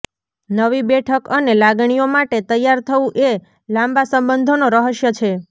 નવી બેઠક અને લાગણીઓ માટે તૈયાર થવું એ લાંબા સંબંધોનો રહસ્ય છે